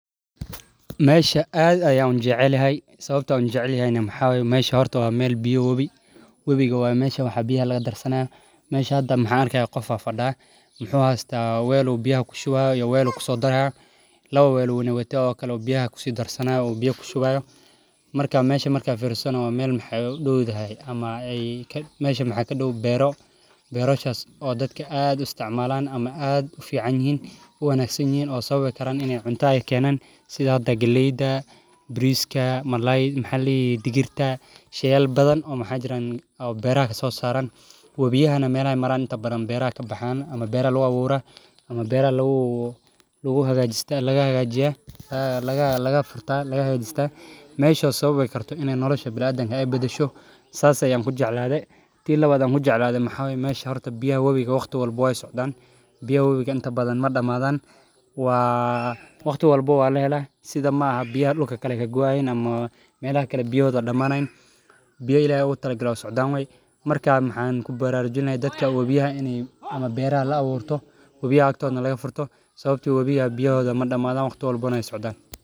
Meshaan aad ay u unjeclihay, sababtoo ah u unjeclihay inuu maxaabi ma aha horto ah meel biyo wabi. Webiga waa maasha waxa biyaha laga darsanaa. Maasha hadda maxaankay qof afa dhah. Maxuuna u weysnaa weelo biyaha ku shubayo iyo weelo kusoo daraya. Lawa weelo wuxuna weydiin kaloo biyaha ku sii darsanaa oo biyo ku shubayo. Markaa maashay markaa fiirsoono meel maxaagu duuduhay ama ey ka meesha maxa ka dhuubo beero, bero shaqo dadka aad isticmaalaan ama aad u fiican yihiin. Ugu wanaagsan yihiin oo sababay inay cuntaayeen keenan sida: Dagleyda, Biriiska, Marlayd, Halid, Digirta, Shayle badan oo maxaajiran oo beeraha kasoo saaran. Wabiga meel ay maran inta badan beeraha ka baxaan ama beera lagu abuurra ama beera laguu-laguu hogaajista lagaga hogaajiya lagaa-lagaa furta laga hogaajista. Meesha sababay kartaa inay nolosha bilaa aadan hay bedesho saar say ambu jecleeyade. Tiin labaad ambu jecleeyade maxaabi maashaa horta biyo webiga waqtu walbo ay socdaan. Biyo webiga inta badan mar dhammaadaan waaa waqtu walbo waa la helaa sida ma aha biyaa lugta kale kagu hayn ama meelaa kale biyooda dhammaanayn. Biyo Illahi u taloglaan socdaan way. Markaa maxaan ku bararayn dadka wadiah in ay amma beera la abuurto, wabiah aagto laga furto sababtoo wabiah biyooda mar dhammaadaan waqtu walbo noo ay socdaan.